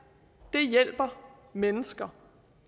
det hjælper mennesker